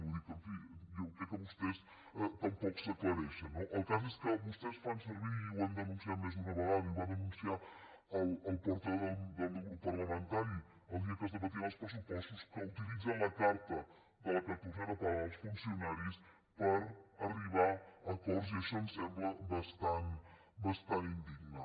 vull dir en fi crec que vostès tampoc s’aclareixen no el cas és que vostès fan servir i ho hem denunciat més d’una vegada i ho va denunciar el portaveu del meu grup parlamentari el dia que es debatien els pressupostos que utilitzen la carta de la catorzena paga dels funcionaris per arribar a acords i això ens sembla bastant indigne